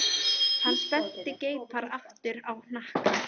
Hann spennti greipar aftur á hnakka.